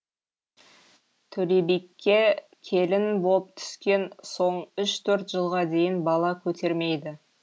төлебике келін боп түскен соң үш төрт жылға дейін бала көтермейді